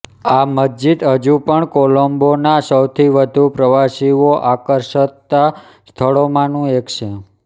આ મસ્જિદ હજુ પણ કોલંબોના સૌથી વધુ પ્રવાસીઓ આકર્ષતા સ્થળોમાંનું એક છે